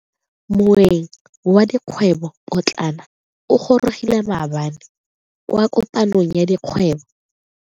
Moeng wa dikgwebo potlana o gorogile maabane kwa kopanong ya dikgwebo.